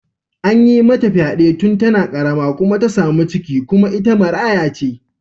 An yi mata fyade tun tana karama kuma ta samu ciki kuma ita maraya ce.